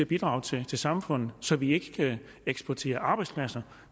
bidrag til til samfundet så vi ikke eksporterer arbejdspladser